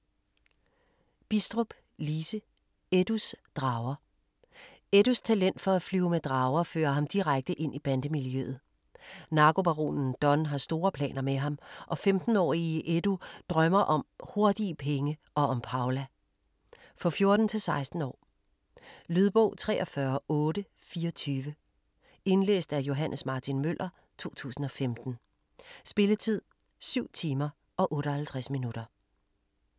Bidstrup, Lise: Eddus drager Eddus talent for at flyve med drager fører ham direkte ind i bandemiljøet. Narkobaronen Don har store planer med ham, og 15-årige Eddu drømmer om hurtige penge og om Paula. For 14-16 år. Lydbog 43824 Indlæst af Johs. Martin Møller, 2015. Spilletid: 7 timer, 58 minutter.